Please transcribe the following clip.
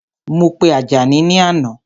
Mo pe Àjàní ni àná